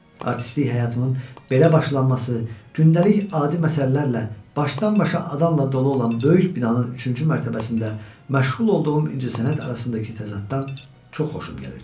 Artistlik həyatımın belə başlaması, gündəlik adi məsələlərlə başdan-başa adamla dolu olan böyük binanın üçüncü mərtəbəsində məşğul olduğum incəsənət arasındakı təzaddan çox xoşum gəlirdi.